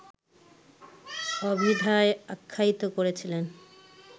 অভিধায় আখ্যায়িত করেছিলেন